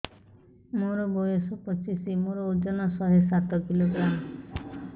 ମୋର ବୟସ ପଚିଶି ମୋର ଓଜନ ଶହେ ସାତ କିଲୋଗ୍ରାମ